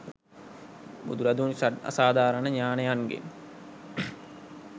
බුදුරදුන් ෂඩ් අසාධාරණ ඥානයන්ගෙන්